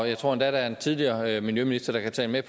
jeg tror endda at der er en tidligere miljøminister der kan tale med